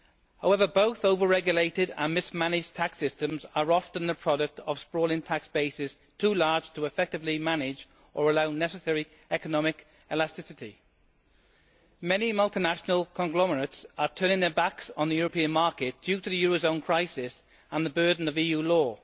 However, both over regulated and mismanaged tax systems are often the product of sprawling tax bases too large to effectively manage or allow necessary economic elasticity. Many multilateral conglomerates are turning their backs on the European market due to the euro zone crisis and the burden of EU law.